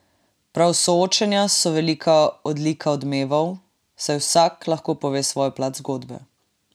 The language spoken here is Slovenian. Prav soočenja so velika odlika Odmevov, saj vsak lahko pove svojo plat zgodbe.